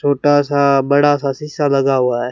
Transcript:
छोटा सा बड़ा सा शीशा लगा हुआ है।